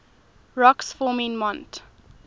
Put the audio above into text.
rocks forming mont